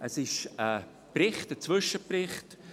Es handelt sich dabei um einen Zwischenbericht.